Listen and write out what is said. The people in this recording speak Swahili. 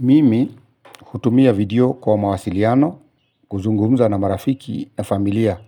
Mimi hutumia video kwa mawasiliano kuzungumza na marafiki na familia.